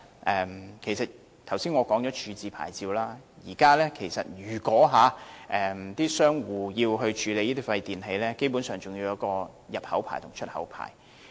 我剛才已談過廢物處置牌照，而現時商戶要處理那些廢電器，基本上還要持有入口牌照和出口牌照。